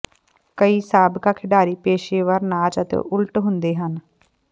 ਕਈ ਸਾਬਕਾ ਖਿਡਾਰੀ ਪੇਸ਼ੇਵਰ ਨਾਚ ਅਤੇ ਉਲਟ ਹੁੰਦੇ ਹਨ